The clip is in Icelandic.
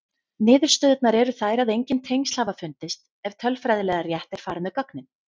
Niðurstöðurnar eru þær að engin tengsl hafa fundist ef tölfræðilega rétt er farið með gögnin.